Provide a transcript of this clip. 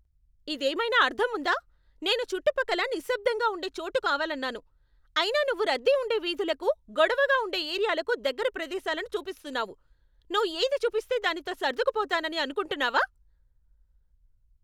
ఇదేమైనా అర్ధం ఉందా? నేను చుట్టుపక్కల నిశ్శబ్ధంగా ఉండే చోటు కావాలన్నాను, అయినా నువ్వు రద్దీ ఉండే వీధులకు, గొడవగా ఉండే ఏరియాలకు దగ్గర ప్రదేశాలను చూపిస్తున్నావు. నువ్వు ఏది చూపిస్తే దానితో సర్డుకుపోతానని అనుకుంటున్నావా?